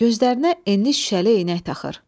Gözlərinə enli şüşəli eynək taxır.